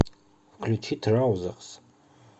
включи траузэрс